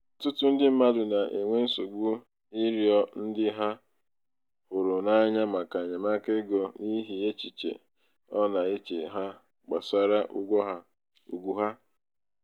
ọtụtụ ndị mmadụ na-enwe nsogbu n'ịrịọ ndị ha hụrụ n'anya maka enyemaka ego n'ihi echiche ọ na-eche ha gbasara ugwu ha.